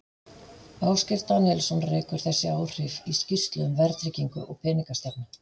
Ásgeir Daníelsson rekur þessi áhrif í skýrslu um verðtryggingu og peningastefnu.